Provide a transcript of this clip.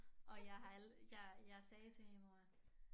Og jeg har jeg jeg sagde til min mor